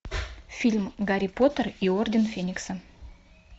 фильм гарри поттер и орден феникса